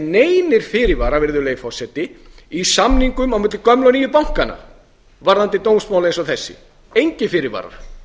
neinir fyrirvarar virðulegi forseti í samningum á milli gömlu og nýju bankanna varðandi dómsmál eins og þessi engir fyrirvarar